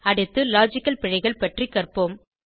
அடுத்து லாஜிக்கல் பிழைகள் பற்றி கற்போம்